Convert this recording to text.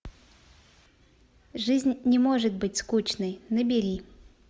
жизнь не может быть скучной набери